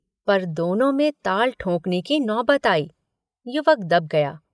पर दोनों में ताल ठोकने की नौबत आई। युवक दब गया